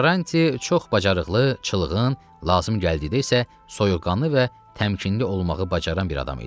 Karranti çox bacarıqlı, çılğın, lazım gəldikdə isə soyuqqanlı və təmkinli olmağı bacaran bir adam idi.